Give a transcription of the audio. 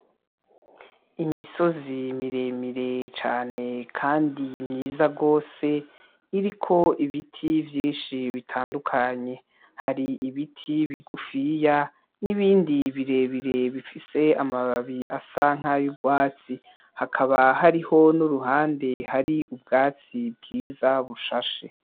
Imisozi miremire cane Kandi myiza gose ,iriko Ibiti vyinshi bitandukanye har' Ibiti bigufiya n'ibindi birebire bifise amababi asa nkay' urwatsi hakaba hariho n'uruhande ruriko ubwatsi bwiza bushashe.